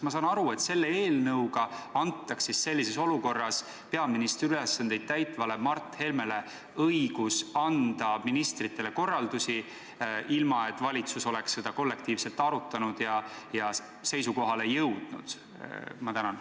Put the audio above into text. Ma saan aru, et selle eelnõu kohaselt antakse sellises olukorras peaministri ülesandeid täitvale Mart Helmele õigus anda ministritele korraldusi, ilma et valitsus oleks neid kollektiivselt arutanud ja seisukohale jõudnud?